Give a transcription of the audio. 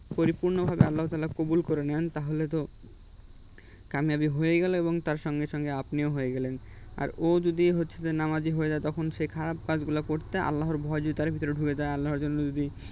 পরিপূর্ণভাবে আল্লাহতালা কবুল করে নেন তাহলে তো কামিয়াবি হয়েই গেলাম এবং তার সঙ্গে সঙ্গে আপনিও হয়ে গেলেন আর ও যদি হচ্ছে যে নামাজী হয়ে যায় তখন সে খারাপ কাজগুলো করতে আল্লাহর ভয় যদি তার ভেতরে ঢুকে যায় এবং আল্লাহর জন্য যদি